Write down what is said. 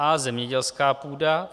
A) Zemědělská půda.